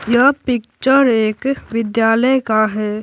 यह पिक्चर एक विद्यालय का है।